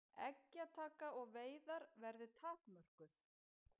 Eggjataka og veiðar verði takmörkuð